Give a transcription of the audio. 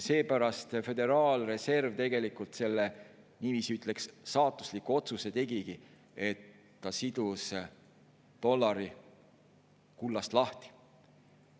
Seepärast Föderaalreserv tegelikult selle, ütleks niiviisi, saatusliku otsuse tegigi, et ta sidus dollari kullast lahti.